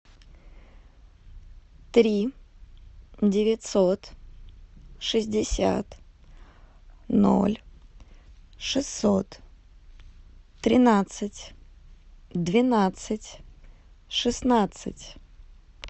три девятьсот шестьдесят ноль шестьсот тринадцать двенадцать шестнадцать